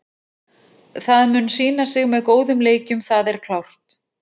Það mun sýna sig með góðum leikjum, það er klárt.